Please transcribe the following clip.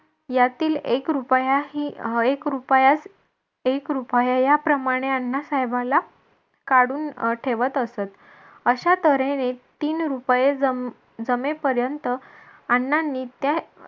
यातील एक रुपयाही एक रुपयात एक रुपया याप्रमाणे अण्णासाहेबांना काढून ठेवत असत. अशा तऱ्हेने तीन रुपये जम जमेपर्यंत आण्णांनी त्या